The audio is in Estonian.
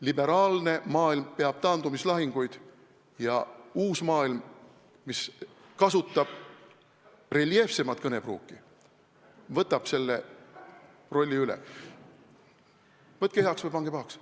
Liberaalne maailm peab taandumislahinguid ja uus maailm, mis kasutab reljeefsemat kõnepruuki, võtab selle rolli üle, võtke heaks või pange pahaks.